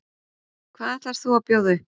Hvað ætlar þú að bjóða upp á?